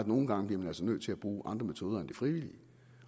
nogle gange bliver nødt til at bruge andre metoder end frivilligheden